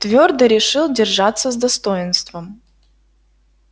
твёрдо решил держаться с достоинством